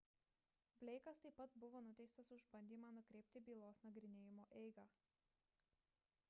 bleikas taip pat buvo nuteistas už bandymą pakreipti bylos nagrinėjimo eigą